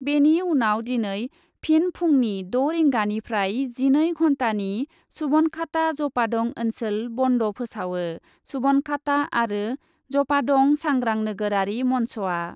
बेनि उनाव दिनै फिन फुंनि द' रिंगानिफ्राय जिनै घन्टानि सुबनखाता जपादं ओन्सोल बन्द फोसावो सुबनखाता आरो जपादं सांग्रां नोगोरारि मन्चआ।